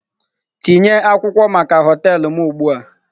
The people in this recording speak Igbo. Tinye akwụkwọ maka họtelu m ugbu a!